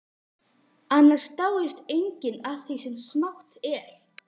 Annars dáist enginn að því sem smátt er.